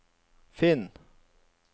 finn